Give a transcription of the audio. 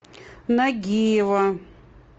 нагиева